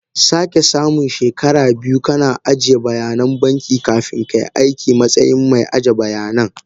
Sekasamu she kara biyu kana ajiye bayanan banki kafin kai aiki matsayin mai aje bayanan.